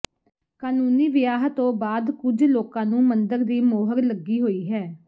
ਕਾਨੂੰਨੀ ਵਿਆਹ ਤੋਂ ਬਾਅਦ ਕੁਝ ਲੋਕਾਂ ਨੂੰ ਮੰਦਰ ਦੀ ਮੋਹਰ ਲੱਗੀ ਹੋਈ ਹੈ